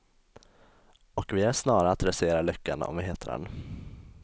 Och vi är snara att rasera lyckan om vi hittar den.